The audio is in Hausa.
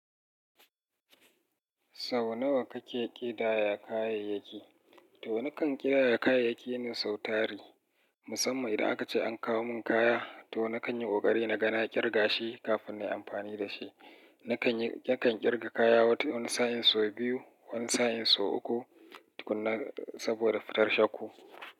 Sau nawa kake ƙidaya kayayyaki? To nakan ƙidaya kayayyaki na sau tari. Musamman idan aka ce an kawo mun kaya, to nakan yi ƙoƙari na ga na ƙirga shi kafin na yi amfani da shi. Nakan yi, nakan ƙirga kaya wani sa'in sau biyu, wani sa'in sau uku saboda fitar shakku.